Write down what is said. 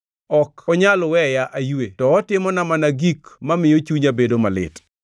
Ok onyal weya aywe to otimona mana gik mamiyo chunya bedo malit.